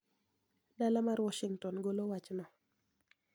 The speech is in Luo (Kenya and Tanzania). Dala mar Washington golo wachno